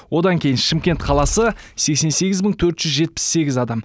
одан кейін шымкент қаласы сексен сегіз мың төрт жүз жетпіс сегіз адам